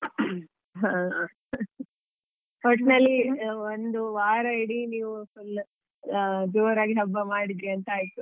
ಹಾ ಒಟ್ನಲ್ಲಿ ಒಂದು ವಾರ ಇಡೀ ನೀವ್ ಜೋರಾಗಿ ಹಬ್ಬ ಮಾಡಿದ್ರಿ ಅಂತ ಆಯ್ತು .